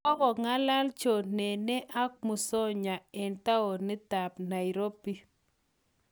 Kokong'alal John Nene ak Musonye eng' taonitap Nairobi